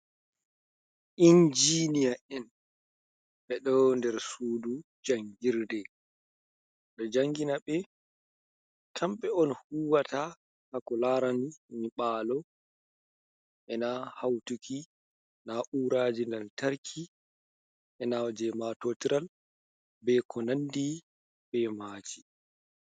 Injiniya en ɓe ɗo nder suudu jangirde ɗo janginaɓe kamɓe on huwata ha ko laraani nyiɓalo ena hautuki nau'raji lantarki ena jei maatotiral be ko nandi be maji.